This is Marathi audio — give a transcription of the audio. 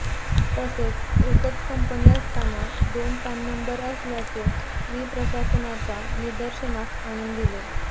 तसेच एकच कंपनी असताना दोन पॅन नंबर असल्याचे मी प्रशासनाच्या निदर्शनास आणून दिले